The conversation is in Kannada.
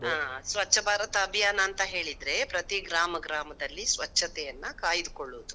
ಹ ಸ್ವಚ್ಛ ಭಾರತ ಅಬಿಯಾನ ಅಂತ ಹೇಳಿದ್ರೆ, ಪ್ರತೀ ಗ್ರಾಮ ಗ್ರಾಮದಲ್ಲಿ ಸ್ವಚ್ಛತೆಯನ್ನ ಕಾಯ್ದು ಕೊಳ್ಳೋದು.